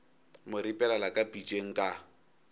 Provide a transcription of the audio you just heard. mo ripelela ka pitšeng ka